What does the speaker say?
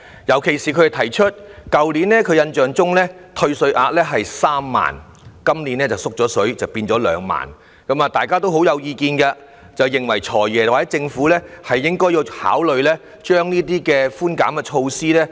尤其是去年的退稅額是3萬元，今年調低為2萬元，大家對此很有意見，認為"財爺"和政府應該考慮加強這些寬減措施。